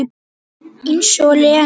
Eins og Lena!